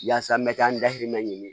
Yaasa n bɛ ka n dahirimɛ ɲini